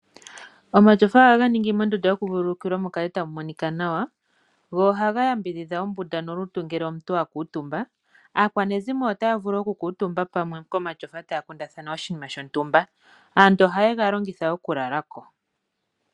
Omatyofa oha ga ningi mondunda yokuvululukila mukale tamu monika nawa go oha ga yambidhidha ombunda nolutu ngele omuntu a kuutumba. Aakwanezimo ota ya vulu okukutumba pamwe komatyofa taya kundathana oshinima shontumba, aantu oha yega longitha okulalako.